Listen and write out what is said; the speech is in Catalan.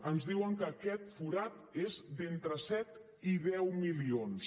ens diuen que aquest forat és d’entre set i deu milions